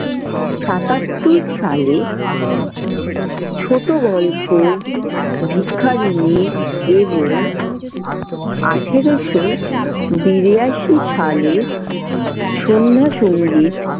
সাতাত্তর সালে ছোট গল্প ভিখারিণী এবং আঠারোশো বিরাশি সালে সন্ধ্যা সঙ্গীত।